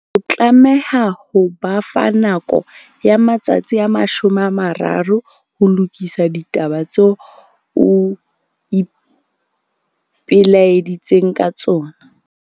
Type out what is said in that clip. O tlameha ho ba fa nako ya matsatsi a 30 ho lokisa ditaba tseo o ipelaeditseng ka tsona.